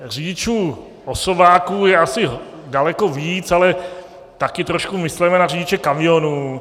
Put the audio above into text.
Řidičů osobáků je asi daleko víc, ale také trošku mysleme na řidiče kamionů.